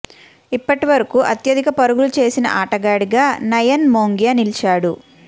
ఇప్పటి వరకు అత్యధిక పరుగులు చేసిన ఆటగాడిగా నయాన్ మోంగియా నిలిచాడు